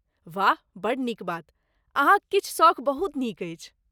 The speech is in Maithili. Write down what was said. वाह, बड्ड नीक बात, अहाँक किछु सौख बहुत नीक अछि।